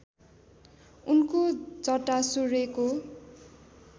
उनको जटा सूर्यको